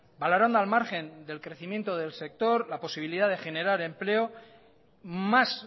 valorando al margen del crecimiento del sector la posibilidad de generar empleo más